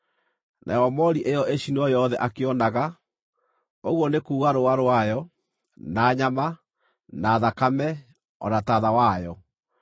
Nayo moori ĩyo ĩcinwo yothe akĩonaga, ũguo nĩ kuuga rũũa rwayo, na nyama, na thakame, o na taatha wayo.